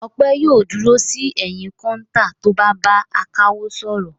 Ọpẹ́ yóò dúró sí ẹ̀yìn kọ́ńtà tó bá ń bá akawó sọ̀rọ̀.